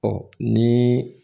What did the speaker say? Ɔ ni